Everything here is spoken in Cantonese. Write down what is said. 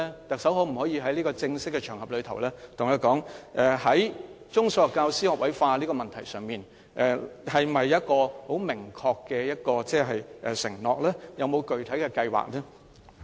特首能否在這個正式場合，在中、小學教師學位化的問題上，作出明確的承諾？有否具體的計劃？